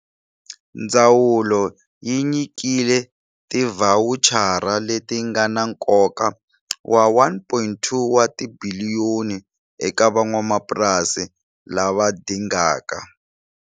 Ndzawulo yi nyikile tivhawuchara leti nga na nkoka wa R1.2 wa tibiliyoni eka van'wamapurasi lava dingaka.